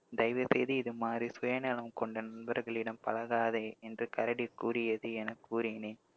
தயவு செய்து இது மாதிரி சுயநலம் கொண்ட நண்பர்களிடம் பழகாதே என்று கரடி கூறியது என கூறினேன்